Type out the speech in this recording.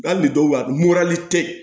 Hali bi dɔwba tɛ